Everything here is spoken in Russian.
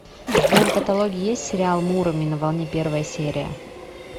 в твоем каталоге есть сериал муроми на волне первая серия